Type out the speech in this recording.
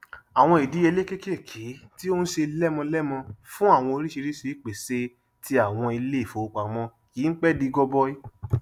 àwọn ìdíyelé kékèké tí ó n ṣe lemọlemọ fún àwọn oríṣiríṣi ìpèsè ti àwọn ilé ìfowópamọ kìí pẹ di gọbọi